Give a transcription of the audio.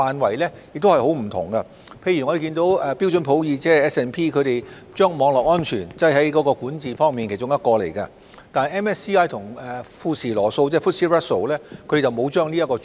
舉例來說，標準普爾將網絡安全納入管治的其中一環，但明晟及富時羅素則沒有納入這個主題。